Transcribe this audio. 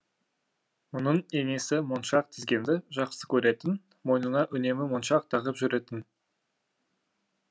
мұның енесі моншақ тізгенді жақсы көретін мойнына үнемі моншақ тағып жүретін